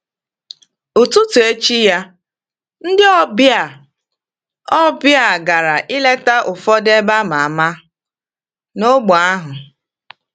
Ụtụtụ echi ya, ndị ọbịa ọbịa gara ileta ụfọdụ ebe a ma ama n’ógbè ahụ.